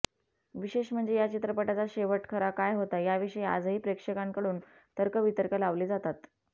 विशेष म्हणजे या चित्रपटाचा शेवट खरा काय होता याविषयी आजही प्रेक्षकांकडून तर्क वितर्क लावले जातात